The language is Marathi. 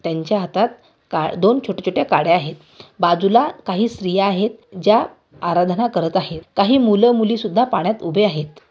त्यांच्या हातात काड दोन छोट्या-छोट्या काड्या आहेत बाजूला काही स्त्रिया आहेत. ज्या आराधना करत आहेत. काही मुलं मुली सुद्धा पाण्यात उभे आहेत.